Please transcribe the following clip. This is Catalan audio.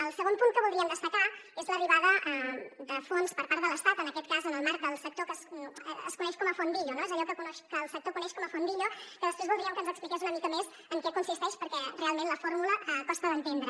el segon punt que voldríem destacar és l’arribada de fons per part de l’estat en aquest cas en el marc del sector que es coneix com a fondillo allò que el sector coneix com a fondillo que després voldríem que ens expliqués una mica més en què consisteix perquè realment la fórmula costa d’entendre